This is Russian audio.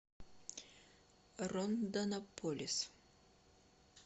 рондонополис